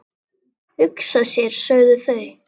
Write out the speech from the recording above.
Hugsa sér, sögðu þau.